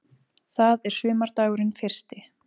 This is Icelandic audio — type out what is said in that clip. Það er sumardagurinn fyrsti.